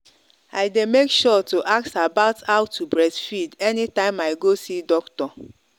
i day make sure to ask about how to breastfeed anytime i go see doctor.